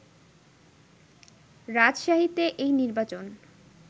রাজশাহীতে এই নির্বাচন